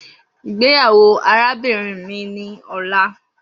Igbeyawo arabinrin mi ni ọla